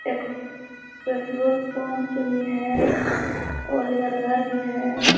एक petrol pump भी है और इधर घर भी है|